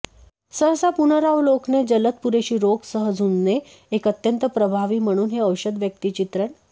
सहसा पुनरावलोकने जलद पुरेशी रोग सह झुंजणे एक अत्यंत प्रभावी म्हणून हे औषध व्यक्तिचित्रण